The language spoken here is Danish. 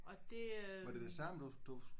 Ja og det øh